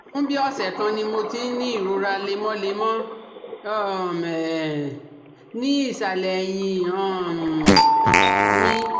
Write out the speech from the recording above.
Fún bí ọ̀sẹ̀ kan ni mo ti ń ní ìrora lemọ́lemọ́ um ní ìsàlẹ̀ èyìn um mi